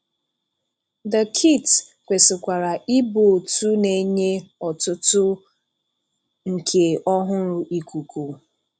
The kit kwesị̀kwara ịbụ otu na-enye ọtụtụ nke ọhúrụ́ ikuku.